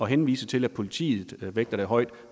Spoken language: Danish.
henvises til at politiet vægter det højt